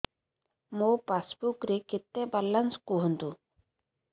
ମୋ ପାସବୁକ୍ ରେ କେତେ ବାଲାନ୍ସ କୁହନ୍ତୁ